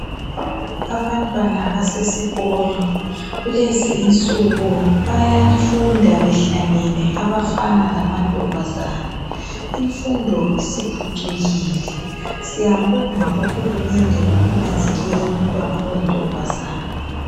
Abantwana basesikolo , kulezi insuku bayafunda behlangene abafana lamantombazane , imfundo isiphucukile , siyabonga uhulumende ngokunanzelela umntwana oyintombazane